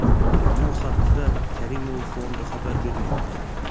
Bu haqda Karimov Fondi xabar bermoqda .